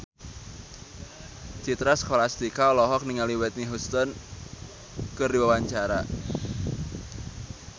Citra Scholastika olohok ningali Whitney Houston keur diwawancara